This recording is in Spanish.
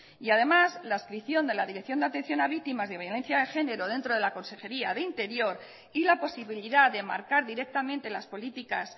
y además la adscripción de la dirección de atención a víctimas de violencia de género dentro de la consejería de interior y la posibilidad de marcar directamente las políticas